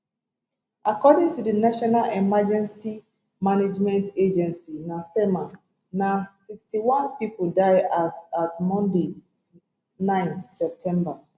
according to di national emergency management agency nasema na 61 pipo die as at monday 9 september